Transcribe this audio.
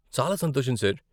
చాలా సంతోషం ,సార్.